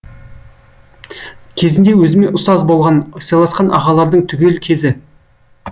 кезінде өзіме ұстаз болған сыйласқан ағалардың түгел кезі